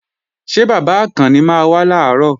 Ṣé bàbá Àkànni máa wá làárọ̀?